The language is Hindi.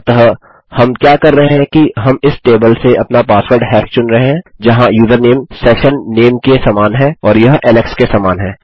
अतः हम क्या कर रहे हैं कि हम इस टेबल से अपना पासवर्ड हैश चुन रहे हैं जहाँ यूजरनेम सेशननेम के समान है और यह एलेक्स के समान है